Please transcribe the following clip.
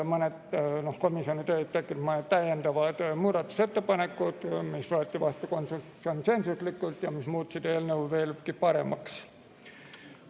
Komisjoni töös tekkisid mõned täiendavad muudatusettepanekud, mis võeti vastu konsensuslikult ja mis muutsid eelnõu veelgi paremaks.